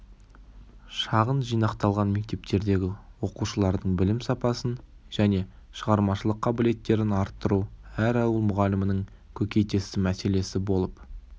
шағын жинақталған мектептердегі оқушылардың білім сапасын және шығармашылық қабілеттерін арттыру әр ауыл мұғалімінің көкейтесті мәселесі болып